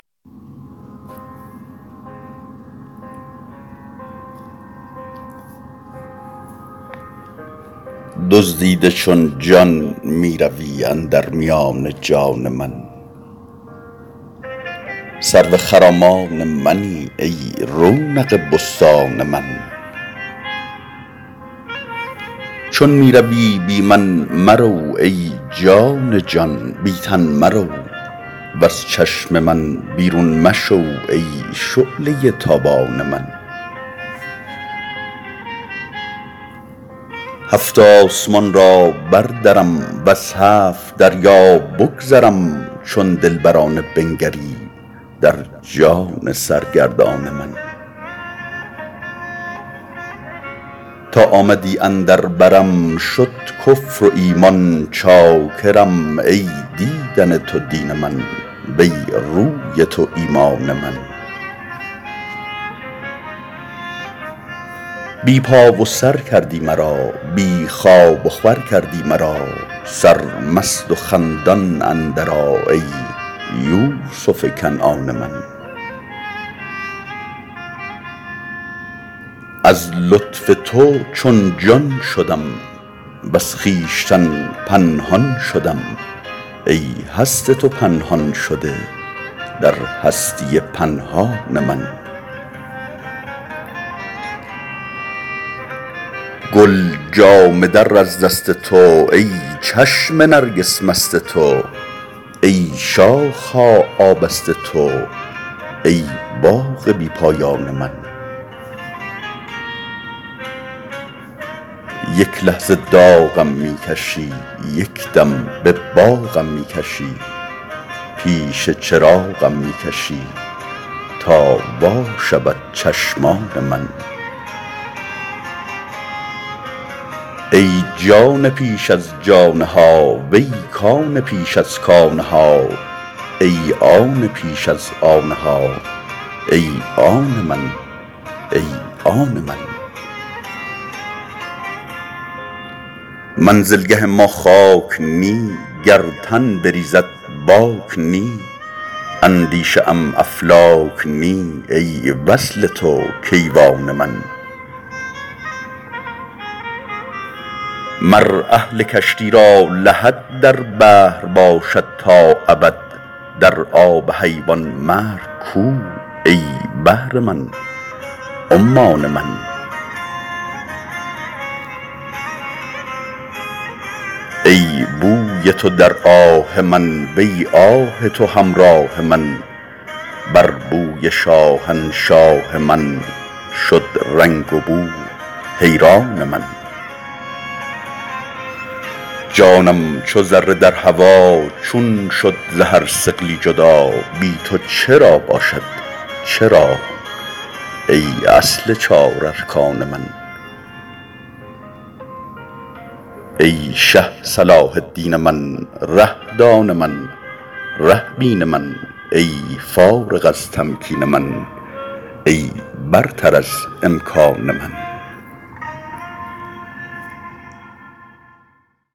دزدیده چون جان می روی اندر میان جان من سرو خرامان منی ای رونق بستان من چون می روی بی من مرو ای جان جان بی تن مرو وز چشم من بیرون مشو ای شعله ی تابان من هفت آسمان را بردرم وز هفت دریا بگذرم چون دلبرانه بنگری در جان سرگردان من تا آمدی اندر برم شد کفر و ایمان چاکرم ای دیدن تو دین من وی روی تو ایمان من بی پا و سر کردی مرا بی خواب وخور کردی مرا سرمست و خندان اندرآ ای یوسف کنعان من از لطف تو چون جان شدم وز خویشتن پنهان شدم ای هست تو پنهان شده در هستی پنهان من گل جامه در از دست تو ای چشم نرگس مست تو ای شاخ ها آبست تو ای باغ بی پایان من یک لحظه داغم می کشی یک دم به باغم می کشی پیش چراغم می کشی تا وا شود چشمان من ای جان پیش از جان ها وی کان پیش از کان ها ای آن پیش از آن ها ای آن من ای آن من منزلگه ما خاک نی گر تن بریزد باک نی اندیشه ام افلاک نی ای وصل تو کیوان من مر اهل کشتی را لحد در بحر باشد تا ابد در آب حیوان مرگ کو ای بحر من عمان من ای بوی تو در آه من وی آه تو همراه من بر بوی شاهنشاه من شد رنگ وبو حیران من جانم چو ذره در هوا چون شد ز هر ثقلی جدا بی تو چرا باشد چرا ای اصل چار ارکان من ای شه صلاح الدین من ره دان من ره بین من ای فارغ از تمکین من ای برتر از امکان من